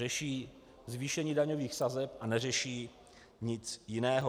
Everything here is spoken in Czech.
- řeší zvýšení daňových sazeb a neřeší nic jiného.